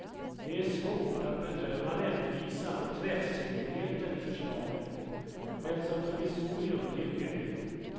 Det är svårt att bedöma rättvisan och träffsäkerheten i förslaget men som provisorium duger det.